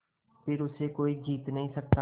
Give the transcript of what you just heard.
फिर उसे कोई जीत नहीं सकता